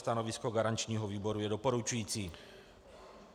Stanovisko garančního výboru je doporučující.